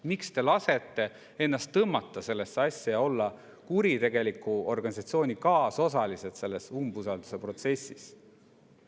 Miks te lasete ennast tõmmata sellesse asja ja olete kuritegeliku organisatsiooni kaasosalised selles umbusalduse protsessis?